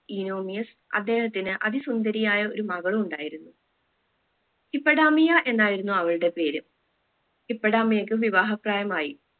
ഇനോമിയസ് അദ്ദേഹത്തിന് അതി സുന്ദരിയായ ഒരു മകൾ ഉണ്ടായിരുന്നു ഹിപ്പടാമിയ എന്നായിരുന്നു അവളുടെ പേര് ഹിപ്പടാമിയക്ക് വിവാഹപ്രായമായി